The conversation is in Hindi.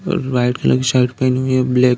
और व्हाइट कलर की शर्ट पहनी हुई है ब्लैक --